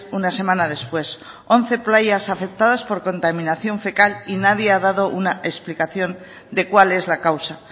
una semana después once playas afectadas por contaminación fecal y nadie ha dado una explicación de cuál es la causa